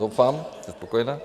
Doufám, jste spokojená.